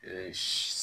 Ee